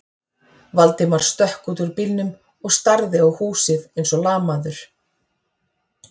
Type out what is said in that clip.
Valdimar stökk út úr bílnum og starði á húsið eins og lamaður.